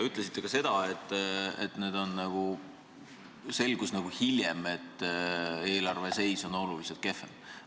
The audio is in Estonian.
Ütlesite ka seda, et hiljem selgus, et eelarve seis on oluliselt kehvem.